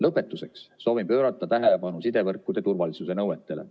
Lõpetuseks soovin pöörata tähelepanu sidevõrkude turvalisuse nõuetele.